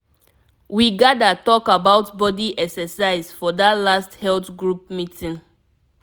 we gather talk about body exercise for that last health group meeting.